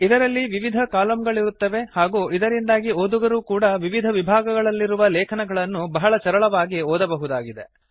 ಇದರಲ್ಲಿ ವಿವಿಧ ಕಾಲಮ್ ಗಳಿರುತ್ತವೆ ಹಾಗೂ ಇದರಿಂದಾಗಿ ಓದುಗರೂ ಕೂಡಾ ವಿವಿಧ ವಿಭಾಗಗಳಲ್ಲಿರುವ ಲೇಖನಗಳನ್ನು ಬಹಳ ಸರಳವಾಗಿ ಓದಬಹುದಾಗಿದೆ